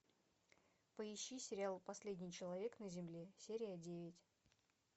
поищи сериал последний человек на земле серия девять